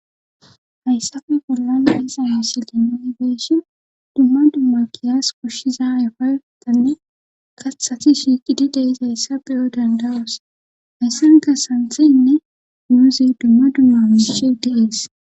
Hayssafe bollan aysa yasilin onigeeshi dumma dumma giyas koshshiza ayfotanne kathati shiiqidi deizayssa beyo dandawos hayssanka santheyinne muuzi dumma dumma miishi de7es.